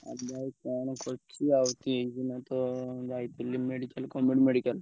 ଆଉ ଭାଇ କଣ କରୁଛି ଆଉ ତ ଏଇନା ତ ଯାଇଥିଲି medical government medical ।